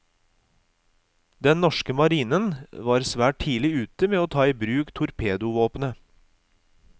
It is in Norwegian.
Den norske marinen var svært tidlig ute med å ta i bruk torpedovåpnet.